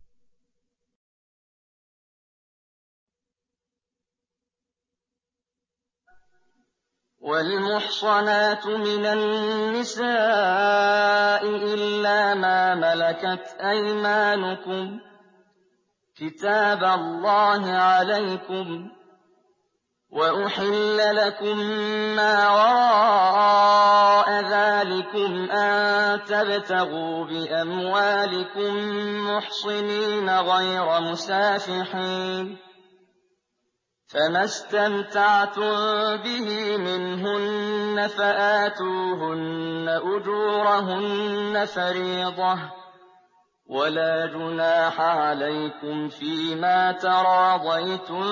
۞ وَالْمُحْصَنَاتُ مِنَ النِّسَاءِ إِلَّا مَا مَلَكَتْ أَيْمَانُكُمْ ۖ كِتَابَ اللَّهِ عَلَيْكُمْ ۚ وَأُحِلَّ لَكُم مَّا وَرَاءَ ذَٰلِكُمْ أَن تَبْتَغُوا بِأَمْوَالِكُم مُّحْصِنِينَ غَيْرَ مُسَافِحِينَ ۚ فَمَا اسْتَمْتَعْتُم بِهِ مِنْهُنَّ فَآتُوهُنَّ أُجُورَهُنَّ فَرِيضَةً ۚ وَلَا جُنَاحَ عَلَيْكُمْ فِيمَا تَرَاضَيْتُم